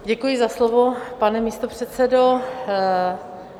Děkuji za slovo, pane místopředsedo.